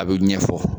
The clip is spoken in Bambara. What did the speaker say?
A bɛ ɲɛfɔ